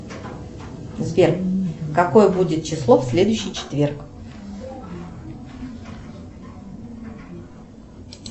сбер какое будет число в следующий четверг